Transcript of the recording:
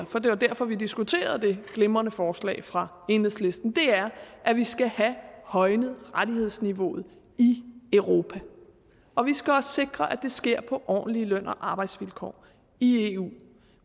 for det var derfor vi diskuterede det glimrende forslag fra enhedslisten er at vi skal have højnet rettighedsniveauet i europa og vi skal også sikre at det sker på ordentlige løn og arbejdsvilkår i eu